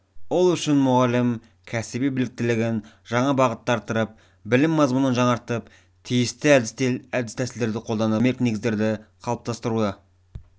ол үшін мұғалім кәсіби біліктілігін жаңа бағытта арттырып білім мазмұнын жаңартып тиісті әдіс-тәсілдерді қолданып әдістемелік негіздерді қалыптастыруы